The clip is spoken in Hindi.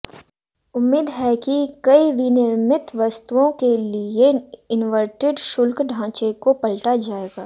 उम्मीद है कि कई विनिर्मित वस्तुओं के लिए इन्वर्टेड शुल्क ढांचे को पलटा जाएगा